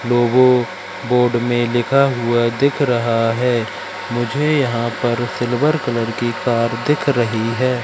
लोगों बोर्ड में लिखा हुआ दिख रहा है मुझे यहां पर सिल्वर कलर की कार दिख रही है।